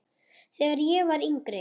Þegar ég var yngri.